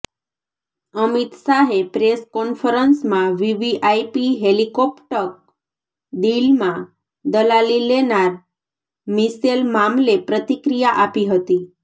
અમિત શાહે પ્રેસ કોન્ફરન્સમાં VVIP helicopter ડીલમાં દલાલી લેનાર મિશેલ મામલે પ્રતિક્રિયા આપી હતી